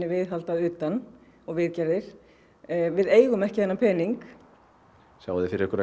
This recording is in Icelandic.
viðhald að utan og viðgerðir við eigum ekki þennan pening sjáið þið fyrir ykkur